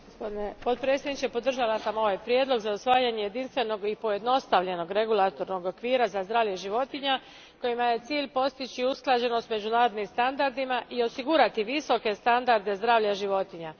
Gospodine predsjedniče, podržala sam ovaj prijedlog za usvajanje jedinstvenog i pojednostavljenog regulatornog okvira za zdravlje životinja kojima je cilj postići usklađenost s međunarodnim standardima i osigurati visoke standarde zdravlja životinja.